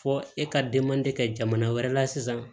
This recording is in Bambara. Fɔ e ka kɛ jamana wɛrɛ la sisan